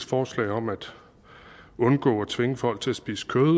forslag om at undgå at tvinge folk til at spise kød